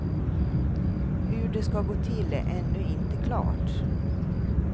Hur det ska gå till är ännu inte klart.